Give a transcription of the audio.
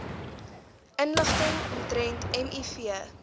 inligting omtrent miv